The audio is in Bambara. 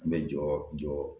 N bɛ jɔ